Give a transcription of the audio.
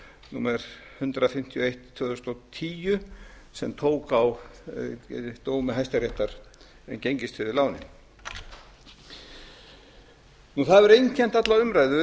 númer hundrað fimmtíu og eitt tvö þúsund og tíu sem tók á dómi hæstaréttar um gengistryggðu lánin það hefur einkennt alla umræðu